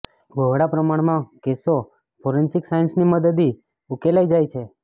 બહોળા પ્રમાણમાં કેસો ફોરેન્સીક સાયન્સની મદદી ઉકેલાઈ જાય છે